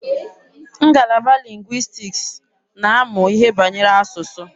Ngalaba lingwistiks na-amụ ihe banyere asụsụ.